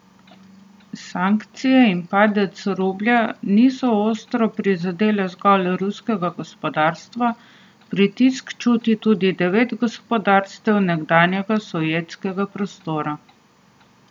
Sankcije in padec rublja niso ostro prizadele zgolj ruskega gospodarstva, pritisk čuti tudi devet gospodarstev nekdanjega sovjetskega prostora.